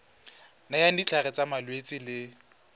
nayang ditlhare tsa malwetse le